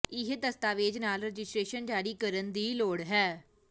ਇਹ ਦਸਤਾਵੇਜ਼ ਨਾਲ ਰਜਿਸਟਰੇਸ਼ਨ ਜਾਰੀ ਕਰਨ ਦੀ ਲੋੜ ਹੈ